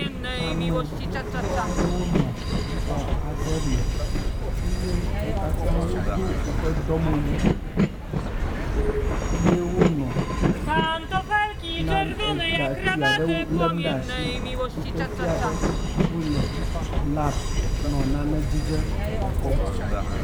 Ame gbogbo aɖewo nɔ xɔ aɖe me eye wo katã wodo woƒe dɔmewu ye wonɔ na egatui aɖewo lem ɖe as iyi ke fia be wo le lab nɔ nane dzidzem kpɔkpɔm.